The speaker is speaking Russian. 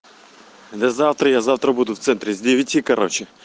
до завтра я завтра буду в центре с девяти короче